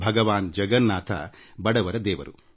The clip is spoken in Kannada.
ಭಗವಾನ್ ಜಗನ್ನಾಥ ಬಡವರ ದೇವರು